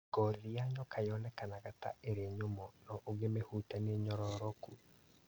Ngothi ya nyoka yonekaga ta ĩrĩ nyumu no ũngĩmĩhutia nĩ nyororoku.